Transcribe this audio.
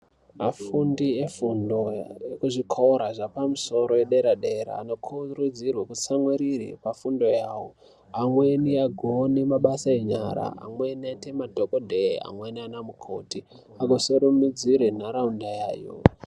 Afundi efundo ekuzvikoro zvepamsoro ederadera, anokurudzirwa kutsamwirire pafundo awo. Amweni agone mabasa enyara, amweni eyite madhokodheya, amweni anamukoti asimudzire nharawunda yawo.